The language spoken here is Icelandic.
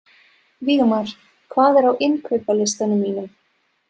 Vígmar, hvað er á innkaupalistanum mínum?